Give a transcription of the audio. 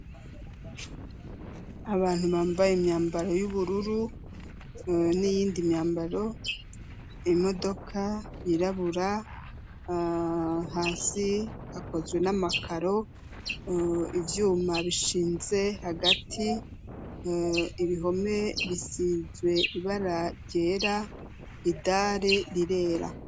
Abantu bambaye imyambaro y'ubururu n'iyindi myambaro. Imodoka yirabura, hasi hakozwe n'amakaro, ivyuma bishinze hagati. Ibihome bisize ibara ryera, idare rirera.